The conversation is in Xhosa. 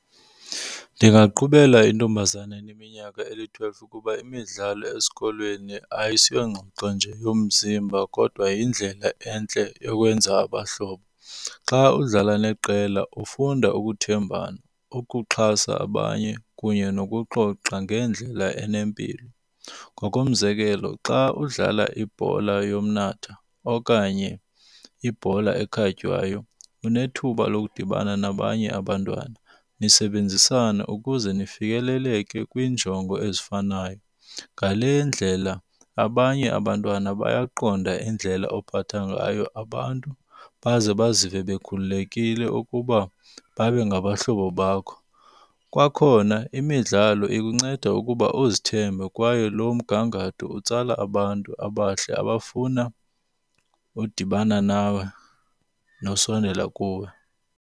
Ndingaqhubela intombazana eneminyaka eli-twelve ukuba imidlalo esikolweni ayisiyongxoxo nje yomzimba kodwa yindlela entle yokwenza abahlobo. Xa udlala neqela ufunda ukuthembana, ukuxhasa abanye kunye nokuxoxa ngendlela enempilo. Ngokomzekelo xa udlala ibhola yomnatha okanye ibhola ekhatywayo unethuba lokudibana nabanye abantwana nisebenzisane ukuze nifikeleleke kwiinjongo ezifanayo. Ngale ndlela abanye abantwana bayaqonda indlela ophatha ngayo abantu baze bazive bekhululekile ukuba babe ngabahlobo bakho. Kwakhona imidlalo ikunceda ukuba uzithembe kwaye loo mgangatho utsala abantu abahle abafuna udibana nawe nosondela kuwe.